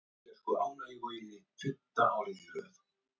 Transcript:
Hallkel og spurði hvort hann hefði fundið lausn á málum leysingjanna.